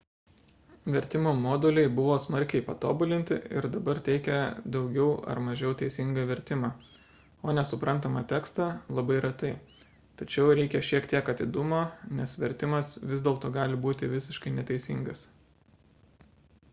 vertimo moduliai buvo smarkiai patobulinti ir dabar teikia daugiau ar mažiau teisingą vertimą o nesuprantamą tekstą – labai retai tačiau reikia šiek tiek atidumo nes vertimas vis dėlto gali būti visiškai neteisingas